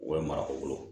U bɛ mara u bolo